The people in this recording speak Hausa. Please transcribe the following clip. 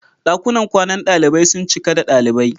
Dakunan kwanan dalibai sun cika da dalibai.